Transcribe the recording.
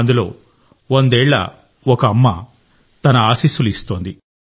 అందులో వందేళ్ల ఒక అమ్మ తన ఆశీస్సులు ఇస్తోంది